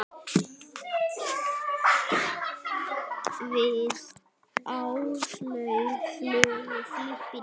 Við Áslaug vorum ferlega fúlar.